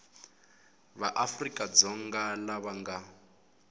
va afrika dzonga lava nga